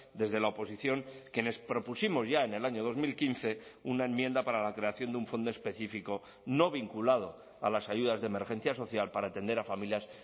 desde la oposición quienes propusimos ya en el año dos mil quince una enmienda para la creación de un fondo específico no vinculado a las ayudas de emergencia social para atender a familias